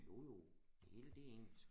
Jo jo det hele det ens